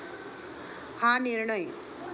हा निर्णय